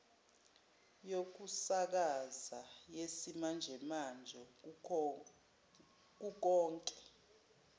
yokusakaza yesimanjemanje kukonke